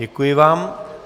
Děkuji vám.